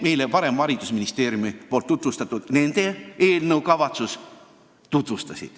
Täpselt sama kavatsus oli meile varem esitletud haridusministeeriumi eelnõus.